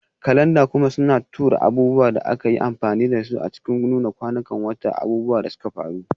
Kalanda kuma suna tura abubuwan da aka yi amfani da su a cikin Nuna kwanan wata, abubuwan da suka faru,